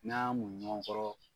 N'an y'an muɲu ɲɔgɔn kɔrɔ